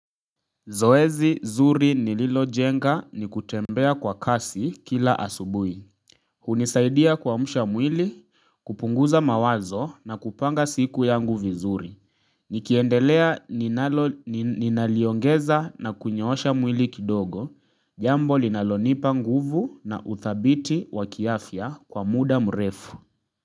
Zoezi zuri nililo jenga ni kutembea kwa kasi kila asubui. Hunisaidia kwamusha mwili, kupunguza mawazo na kupanga siku yangu vizuri. Nikiendelea ninaliongeza na kunyoosha mwili kidogo, jambo linalonipa nguvu na uthabiti waki afya kwa muda mrefu.